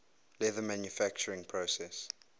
leather manufacturing process